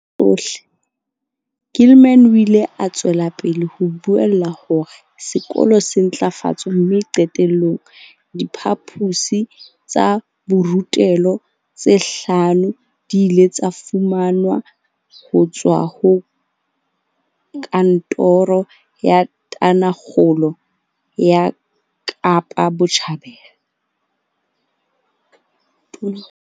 Ka dilemo tsena tsohle, Gilman o ile a tswela pele ho buella hore sekolo se ntlafatswe mme qete llong, diphaposi tsa borutelo tse hlano di ile tsa fumanwa ho tswa ho Kantoro ya Tonakgolo ya Kapa Botjhabela.